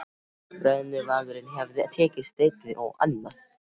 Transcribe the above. Ef brennuvargurinn hefði tekið steininn og annað